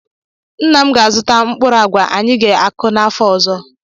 Nna m ga-azụta mkpụrụ agwa anyi ga-akụ n'afọ ọzọ.